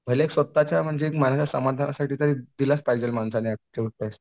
भले स्वतःच्या मनाच्या समाधानासाठी तरी दिलाच पाहिजे माणसाने ऍप्टिट्यूड टेस्ट.